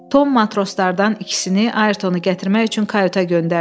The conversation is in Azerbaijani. Tom matroslardan ikisini Ayrtonu gətirmək üçün kayuta göndərdi.